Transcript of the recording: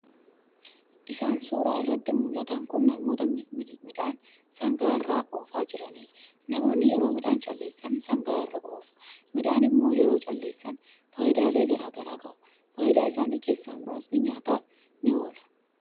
Isaan suuraa irratti muldhatan kun namoota midhaan sangaa irra oofaa jiraniidha. Namoonni yeroo midhaan calleessan sangaa irra oofu. midhaan immo yeroo calleessan faayidaalee garaa garaa qaba. Faayidaa Isaanii keessaa muraasni nyaataaf ni oola.